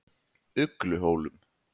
Ugluhólum